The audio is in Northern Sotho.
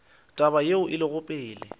taba yeo e lego pele